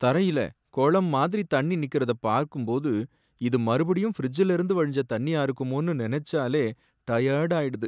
தரையில குளம் மாதிரி தண்ணி நிக்கிறத பாக்கும்போது, இது மறுபடியும் ஃபிரிட்ஜ்லேர்ந்து வழிஞ்ச தண்ணியா இருக்குமோனு நெனைச்சாலே டயர்ட் ஆயிடுது.